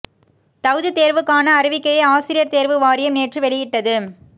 தகுதித் தேர்வுக்கான அறிவிக்கையை ஆசிரியர் தேர்வு வாரியம் நேற்று வெளியிட்டது